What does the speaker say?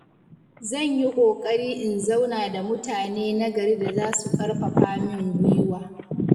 Zan yi ƙoƙari in zauna da mutane na gari da za su ƙarfafa min gwiwa.